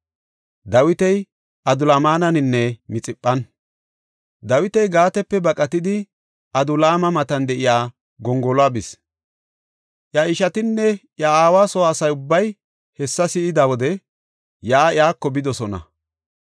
Dawiti Gaatepe baqatidi, Adulaama matan de7iya gongoluwa bis. Iya ishatinne iya aawa soo asa ubbay hessa si7ida wode yaa iyako bidosona.